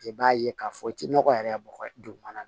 I b'a ye k'a fɔ i tɛ nɔgɔ yɛrɛ bɔgɔ dugumana na